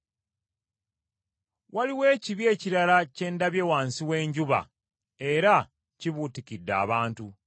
Waliwo ekibi ekirala kye ndabye wansi w’enjuba era kibuutikidde abantu.